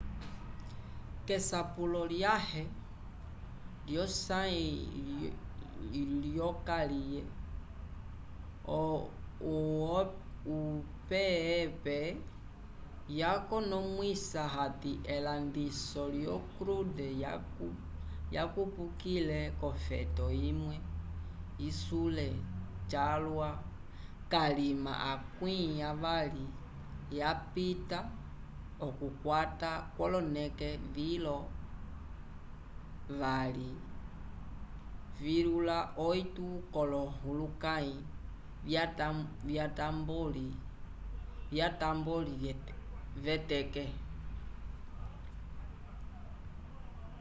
késapulo lyãhe lyosãyi lyokaliye opep yakonomwisa hati elandiso lyo crude yakupukile k'ofeto imwe isule calwa kalima akwĩ avali vyapita okukwata k'oloneke vilo 2,8 k'olohulukãyi vyatamboli v'eteke